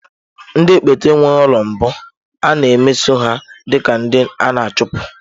Ndị ekpenta enweghị ụlọ mbụ, a na-emeso ha dị ka ndị a na-achụpụ.